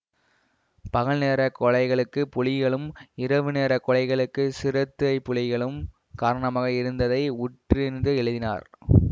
பகல்நேரக் கொலைகளுக்குப் புலிகளும் இரவு நேர கொலைகளுக்குச் சிறுத்தைப்புலிகளும் காரணமாக இருந்ததை உற்றறிந்து எழுதினார்